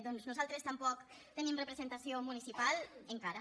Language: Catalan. doncs nosaltres tampoc tenim representació municipal encara